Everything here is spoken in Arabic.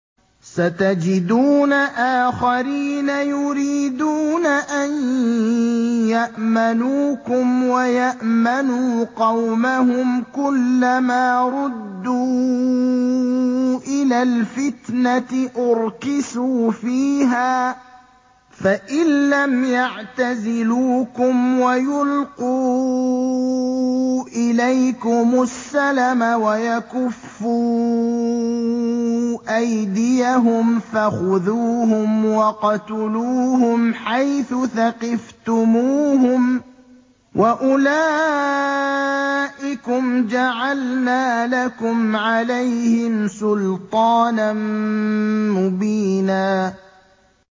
سَتَجِدُونَ آخَرِينَ يُرِيدُونَ أَن يَأْمَنُوكُمْ وَيَأْمَنُوا قَوْمَهُمْ كُلَّ مَا رُدُّوا إِلَى الْفِتْنَةِ أُرْكِسُوا فِيهَا ۚ فَإِن لَّمْ يَعْتَزِلُوكُمْ وَيُلْقُوا إِلَيْكُمُ السَّلَمَ وَيَكُفُّوا أَيْدِيَهُمْ فَخُذُوهُمْ وَاقْتُلُوهُمْ حَيْثُ ثَقِفْتُمُوهُمْ ۚ وَأُولَٰئِكُمْ جَعَلْنَا لَكُمْ عَلَيْهِمْ سُلْطَانًا مُّبِينًا